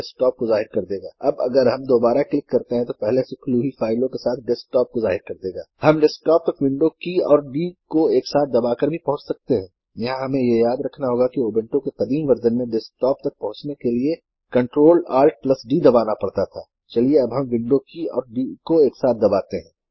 0:12